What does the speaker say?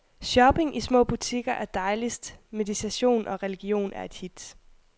Shopping i små butikker er dejligst, meditation og religion et hit.